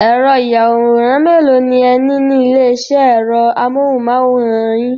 Ẹ̀rọ-ìyàwòrán mélòó ni ẹ ní ní ilé-iṣẹ́ ẹ̀rọ amóhùmáwòhán yín?